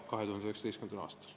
Aitäh!